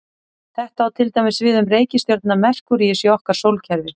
Þetta á til dæmis við um reikistjörnuna Merkúríus í okkar sólkerfi.